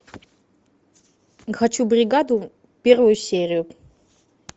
хочу бригаду первую серию